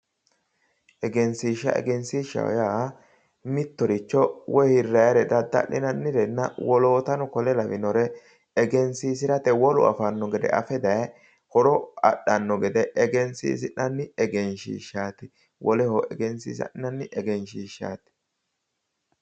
Egenishiisha Egenishiishaho yaa mittoricho woyi hirrayire dadda'linayirenna wolootano kuri lawannore egenisiisirate wolu afanno gede afe daye horo adhanno gede egenishiisi'ni egenishiishaati woleho egenisiissanni egenishiishaati